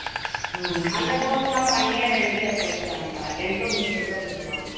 அந்த course எல்லாம் one year ரெண்டு year course தான் அக்கா tenth முடிச்சுட்டு கூட சேரலாம்